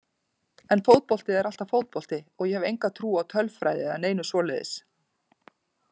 En fótbolti er alltaf fótbolti og ég hef enga trú á tölfræði eða neinu svoleiðis.